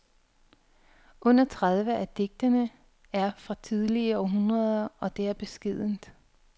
Under tredive af digtene er fra tidligere århundreder, og det er beskedent.